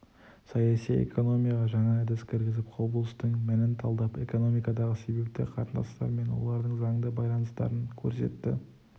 саяси экономияға жаңа әдіс кіргізіп құбылыстың мәнін талдап экономикадағы себепті қатынастар мен олардың заңды байланыстарын көрсетті